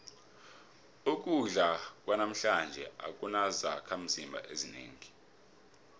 ukudla kwanamhlanje akunazakhimzimba ezinengi